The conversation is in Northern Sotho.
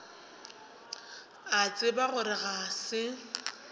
a tseba gore ga se